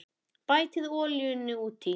Bætið olíunni út í.